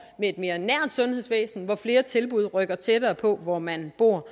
et mere nært sundhedsvæsen hvor flere tilbud rykker tættere på hvor man bor